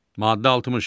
Maddə 60.